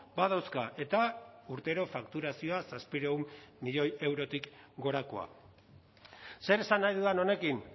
badauzka eta urtero fakturazioa zazpiehun milioi eurotik gorakoa zer esan nahi dudan honekin